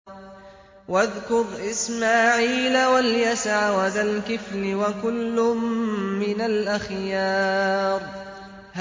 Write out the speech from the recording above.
وَاذْكُرْ إِسْمَاعِيلَ وَالْيَسَعَ وَذَا الْكِفْلِ ۖ وَكُلٌّ مِّنَ الْأَخْيَارِ